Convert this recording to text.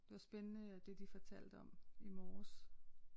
Det var spændende det de fortalte om i morges